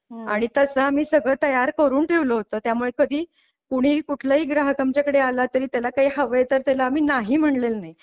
आणि तसा आम्ही सगळे तयार करून ठेवला होता त्यामुळे कधी कुणी कुठलं हि ग्राहक आमच्याकडे आला तर त्याला काय हवे तर त्याला मी नाही म्हटलेलं नाही.